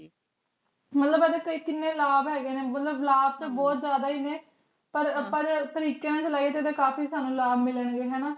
ਮਤਲਬ ਏਡੀ ਤੇ ਕੀਨੀ ਲਾਬ ਹੇਗੇ ਨੇ ਮਤਲਬ ਲਾਭ ਤੇ ਬੋਹਤ ਜਿਆਦਾ ਈ ਨੇ ਪਰ ਤਰੀਕ਼ੇ ਨਾਲ ਚਾਲੈਯਾਯ ਤੇ ਕਾਫੀ ਸਾਨੂ ਲਾਬ ਮਿਲਣ ਗੇ ਹਾਨਾ